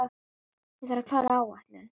Ráðleggi mér að hugsa um sólina.